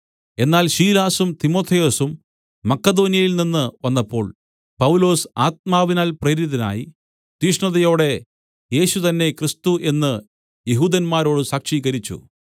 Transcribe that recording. എന്നാൽ ശീലാസും തിമൊഥെയൊസും മക്കെദോന്യയിൽനിന്ന് വന്നപ്പോൾ പൗലൊസ് ആത്മാവിനാൽ പ്രേരിതനായി തീഷ്ണതയോടെ യേശു തന്നെ ക്രിസ്തു എന്ന് യെഹൂദന്മാരോട് സാക്ഷീകരിച്ചു